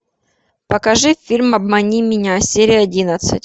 покажи фильм обмани меня серия одиннадцать